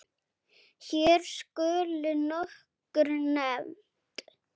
Hér skulu nokkur nefnd